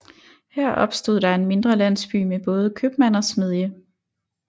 Her opstod der en mindre landsby med både købmand og smedje